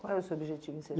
Qual é o seu objetivo em ser